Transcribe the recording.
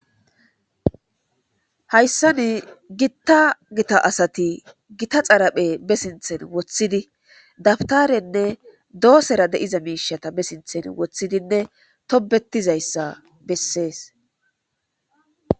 Hyssan gitta gtta asatti gitta xarphezze bentta sinthan wothiddi dawtarrenne dosserra dizza misha wothidi tobettidayssa besses.